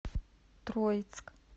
троицк